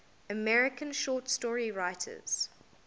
american short story writers